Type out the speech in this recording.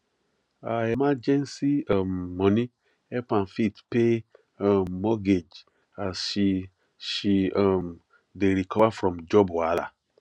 her emergency um money help am fit pay um mortgage as she she um dey recover from job wahala